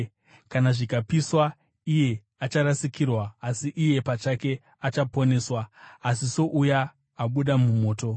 Kana zvikapiswa, iye acharasikirwa: asi iye pachake achaponeswa: asi souya abuda mumoto.